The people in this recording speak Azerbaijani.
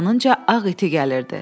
Yanınca ağ iti gəlirdi.